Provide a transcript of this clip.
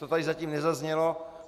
To tady zatím nezaznělo.